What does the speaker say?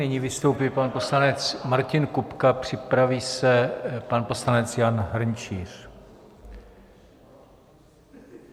Nyní vystoupí pan poslanec Martin Kupka, připraví se pan poslanec Jan Hrnčíř.